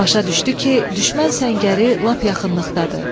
Başa düşdü ki, düşmən səngəri lap yaxınlıqdadır.